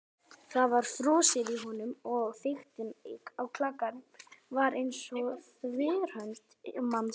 Það var frosið í honum- og þykktin á klakanum var eins og þverhönd manns.